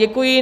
Děkuji.